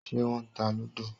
Ṣé wọ́n ta lúdò?